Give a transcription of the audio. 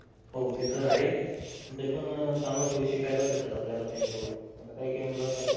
हो ते तर आहे. तरीपण चांगल्या सवयी शिकायलाच भेटतात त्यांच्या कडून आता काही काही मुलं असतात ते